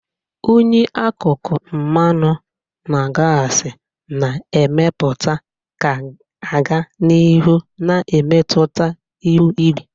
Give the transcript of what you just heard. unyi akụkụ mmanụ na gasi na-emepụta ga-aga n'ihu na-emetụta ihu igwe.